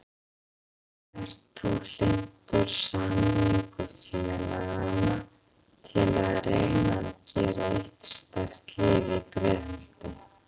Ert þú hlynntur sameiningu félagana til að reyna að gera eitt sterkt lið í Breiðholti?